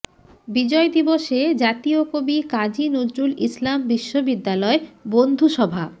বিজয় দিবসে জাতীয় কবি কাজী নজরুল ইসলাম বিশ্ববিদ্যালয় বন্ধুসভা